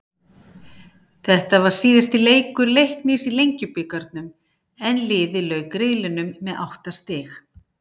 Þetta var síðasti leikur Leiknis í Lengjubikarnum en liðið lauk riðlinum með átta stig.